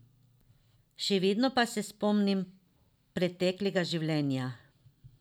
Še vedno pa se spomnim preteklega življenja.